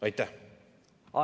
Aitäh!